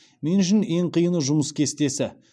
мен үшін ең қиыны жұмыс кестесі